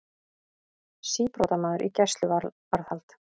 Síbrotamaður í gæsluvarðhald